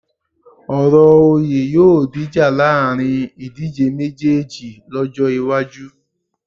Ọ̀rọ̀ oyè yóò dìjà láàrin ìdíjé méjéèjì lọ́jọ́ iwájú